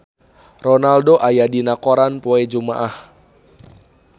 Ronaldo aya dina koran poe Jumaah